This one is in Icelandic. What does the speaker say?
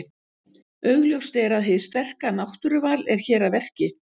Augljóst er að hið sterka náttúruval er hér að verki.